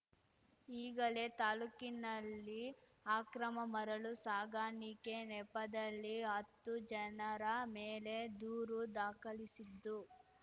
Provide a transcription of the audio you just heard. ಈಗಲೇ ತಾಲೂಕಿನಲ್ಲಿ ಆಕ್ರಮ ಮರಳು ಸಾಗಣಿಕೆ ನೆಪದಲ್ಲಿ ಹತ್ತು ಜನರ ಮೇಲೆ ದೂರು ದಾಖಲಿಸಿದ್ದು